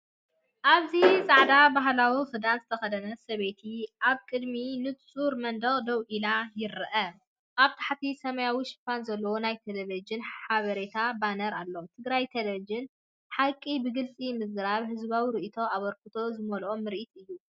ኣብዚ ጻዕዳ ባህላዊ ክዳን ዝተኸድነ ሰበይቲ ኣብ ቅድሚ ንጹር መንደቕ ደው ኢላ ይርአ። ኣብ ታሕቲ ሰማያዊ ሽፋን ዘለዎ ናይ ቴሌቪዥን ሓበሬታ ባነር ኣሎ። ትግራይ ቴሌቪዥን – ሓቂ ብግልፂ ምዝራብ! ህዝባዊ ርእይቶን ኣበርክቶን ዝመልአ ምርኢት እዩ።